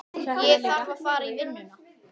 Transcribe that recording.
Ég þarf að fara í vinnuna.